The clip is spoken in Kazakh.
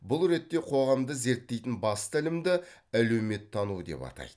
бұл ретте қоғамды зерттейтін басты ілімді әлеуметтану деп атайды